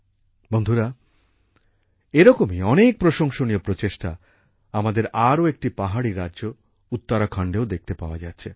বন্ধুরা এরকমই অনেক প্রশংসনীয় প্রচেষ্টা আমাদের আরও একটি পাহাড়ী রাজ্য উত্তরাখণ্ডেও দেখতে পাওয়া যাচ্ছে